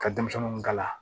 Ka denmisɛnninw kala